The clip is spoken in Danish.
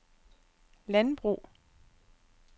landbrug